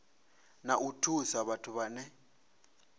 na u thusa vhathu vhane